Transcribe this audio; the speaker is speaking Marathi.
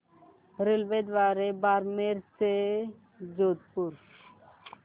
रेल्वेद्वारे बारमेर ते जोधपुर